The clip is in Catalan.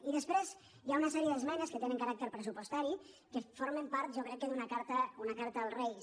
i després hi ha una sèrie d’esmenes que tenen caràc·ter pressupostari que formen part jo crec que d’una carta als reis